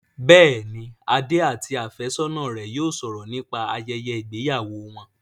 Bẹ́ẹ̀ni, Adé àti àfẹ́sọ́ná rẹ yóò sọ̀rọ̀ nípa ayẹyẹ ìgbéyàwó wọn